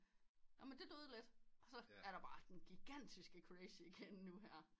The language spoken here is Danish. Jamen det døde lidt og så er det bare den gigantiske crazy igen nu her